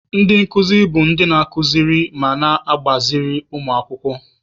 Ndị nkuzi bụ ndị na-akụziri ma na-agbaziri ụmụ akwụkwọ.